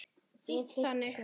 Þýtt þannig